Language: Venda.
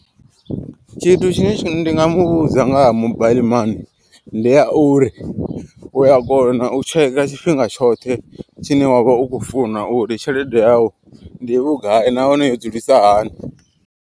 Tshithu tshine ndi nga muvhudza ngaha mobile mani. Ndi ya uri uya kona u tsheka tshifhinga tshoṱhe tshine wavha u kho funa uri tshelede yau ndi vhugai nahone yo dzulisa hani.